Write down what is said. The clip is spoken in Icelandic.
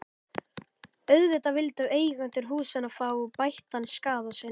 Auðvitað vildu eigendur húsanna fá bættan skaða sinn.